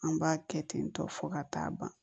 An b'a kɛ ten tɔ fo ka taa ban